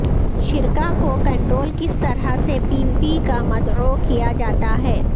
شرکاء کو کنٹرول کس طرح سی پی پی کا مدعو کیا جاتا ہے